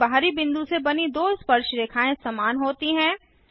एक बाहरी बिंदु से बनी दो स्पर्शरेखाएँ समान होती हैं